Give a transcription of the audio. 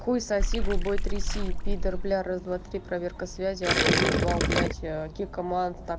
хуй соси губой тряси пидор бля раз два три проверка связи охуеть вау блять кик команд там